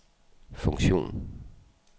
funktion